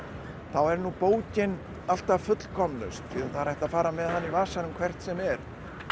þá er nú bókin alltaf fullkomnust það er hægt að fara með hana í vasanum hvert sem er